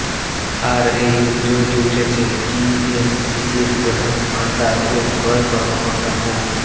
আর এই অভিযোগটি উঠেছে ডিএনসিসির প্রধান ভাণ্ডার ও ক্রয় কর্মকর্তা মো